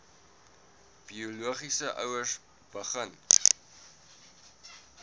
biologiese ouers begin